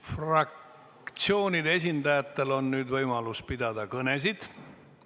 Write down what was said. Fraktsioonide esindajatel on nüüd võimalus pidada kõnesid.